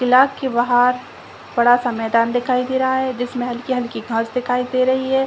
किला के बाहर बड़ा सा मैदान दिखाई दे रहा है जिसमें हल्की-हल्की घास दिखाई दे रही है।